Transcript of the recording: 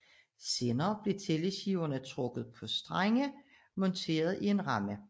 Senere blev tælleskiverne trukket på strenge monteret i en ramme